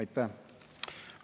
Aitäh!